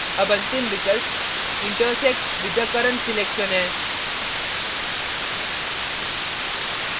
अब अंतिम विकल्प intersect with the current selection है